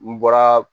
N bɔra